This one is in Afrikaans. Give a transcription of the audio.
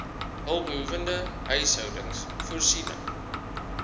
hulpbehoewende huishoudings voorsiening